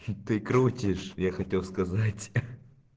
ты крутишь я хотел сказать